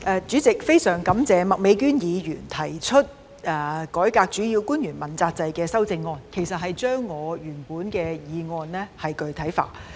主席，非常感謝麥美娟議員就"改革主要官員問責制"議案提出修正案，其實該修正案是把我原本的議案具體化。